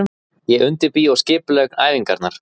Ég undirbý og skipulegg æfingarnar.